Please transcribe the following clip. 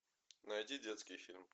найди детский фильм